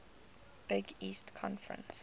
big east conference